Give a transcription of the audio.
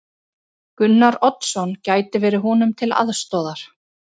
Gunnar Oddsson gæti verið honum til aðstoðar.